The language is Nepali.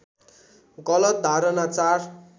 गलत धारणा ४